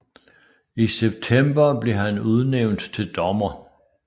I september blev han udnævnt til dommer